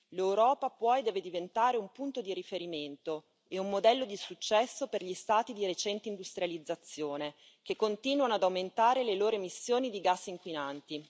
L'Europa può e deve diventare un punto di riferimento e un modello di successo per gli Stati di recente industrializzazione che continuano ad aumentare le loro emissioni di gas inquinanti.